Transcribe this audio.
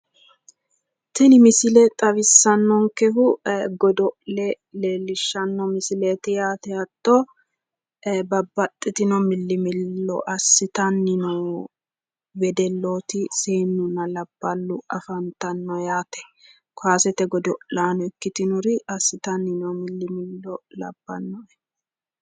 Tini misile xawissannonkehu godo’le leellishshanno misileeti yaate hatto babbaxxitino milli millo assitanni noo wedellooti seennunna labballu afantanno yaate. Kowaasete godo’laano ikkitinori assitanni noo millimillo labbannote.